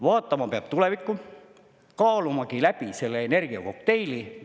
Vaatama peab tulevikku, kaalumagi läbi selle energiakokteili.